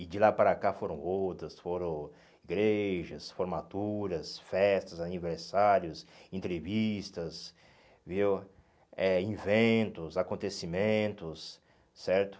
E de lá para cá foram outras, foram igrejas, formaturas, festas, aniversários, entrevistas, viu eh inventos, acontecimentos, certo?